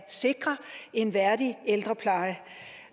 sikre en værdig ældrepleje